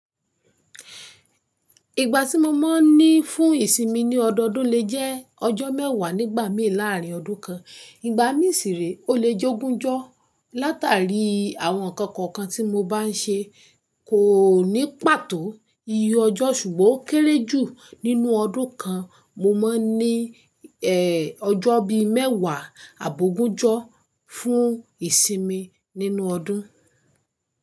Ìgbà tí mo máa ń ní fún ìsinmi ní ọdọọdún le jẹ́ ọjọ́ mẹ́wàá nígbà mí láàárín ọdún kan. Ìgbà mí sì rí o le jẹ́ ogúnjọ́ látàrí àwọn nǹkan kọ̀ọ̀kan tí mo bá ń ṣe kò ní pàtó iye ọjọ́ ṣùgbọ́n ó kéré jù nínú ọdún kan. Mo máa ń ní ẹ́ ọjọ́ bí mẹ́wàá àbó ogúnjọ́ fún ìsinmi nínú ọdún.